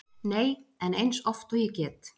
Nei, en eins oft og ég get.